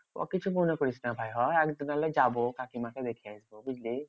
ও কিছু মনে করিস না ভাই হ্যাঁ? একদিন না হলে যাবো কাকিমা কে দেখে আসবো বুঝলি?